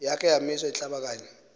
yakhe wamisa iinhlabakanye